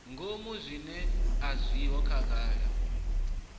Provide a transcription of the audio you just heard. ngomu zwiṅwe a zwiho khagala